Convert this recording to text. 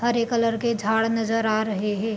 हरे colour के झाड़ नज़र आ रहे है |